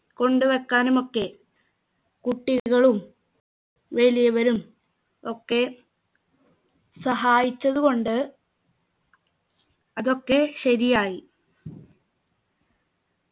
കൊണ്ടുവെക്കാനുമൊക്കെ കുട്ടികളും വലിയവരും ഒക്കെ സഹായിച്ചത് കൊണ്ട് അതൊക്കെ ശരിയായി